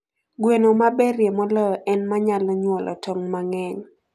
Gweno maberie moloyo en ma nyalo nyuolo tong' mang'eny.